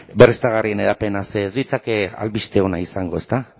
berriztagarrien hedapena ze ez litzateke albiste ona izango ezta